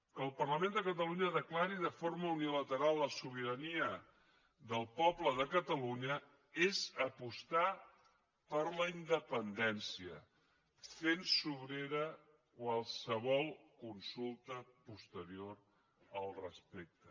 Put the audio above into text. que el parlament de catalunya declari de forma unilateral la sobirania del poble de catalunya és apostar per la independència fent sobrera qualsevol consulta posterior al respecte